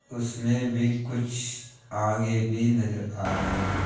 उसमें भी कुछ आगे भी नजर आ रहे हैं।